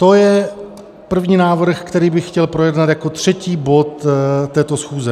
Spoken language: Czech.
To je první návrh, který bych chtěl projednat jako třetí bod této schůze.